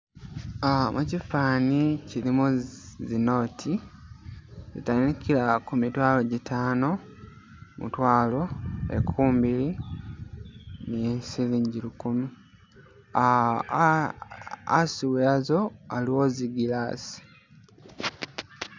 Uh mukifani kilimo zi note , zitandikila ku mitwalo gitano, mutwalo , nkumi biili ni silingi lukumi ah ah asi wazo aliwo zi glass